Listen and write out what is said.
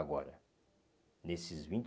Agora, nesses vinte